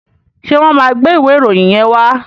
Ṣé wọ́n máa gbé ìwé ìròyìn yẹn wá?